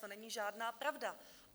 To není žádná pravda.